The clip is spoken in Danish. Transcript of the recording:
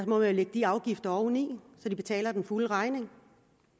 må lægge de afgifter oveni så de betaler den fulde regning